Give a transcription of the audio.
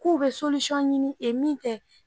K'u be ɲini e min tɛ.